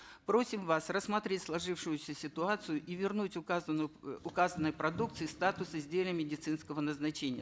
просим вас рассмотреть сложившуюся ситуацию и вернуть в указанную э указанной продукции статус изделия медицинского назначения